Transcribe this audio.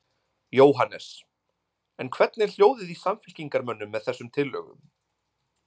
Jóhannes: En hvernig er hljóðið í samfylkingarmönnum með þessum tillögum?